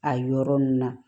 A yɔrɔ ninnu na